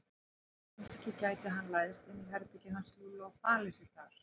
Kannski gæti hann læðst inn í herbergið hans Lúlla og falið sig þar.